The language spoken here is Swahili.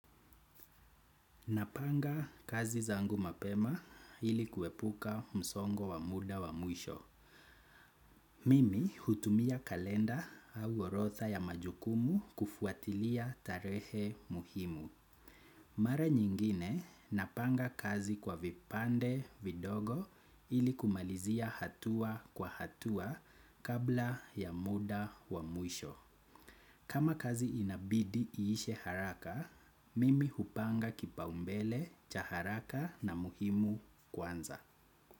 Napanga kazi zangu mapema ili kuepuka msongo wa muda wa mwisho. Mimi hutumia kalenda au orotha ya majukumu kufuatilia tarehe muhimu. Mara nyingine napanga kazi kwa vipande vidogo ili kumalizia hatua kwa hatua kabla ya muda wa mwisho. Kama kazi inabidi iishe haraka, mimi hupanga kipaumbele cha haraka na muhimu kwanza.